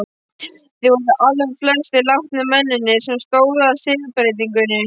Þeir voru allflestir látnir, mennirnir sem stóðu að siðbreytingunni.